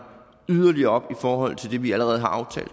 yderligere op i forhold til det vi allerede har aftalt